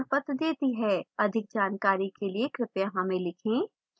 अधिक जानकारी के लिए कृपया हमें लिखें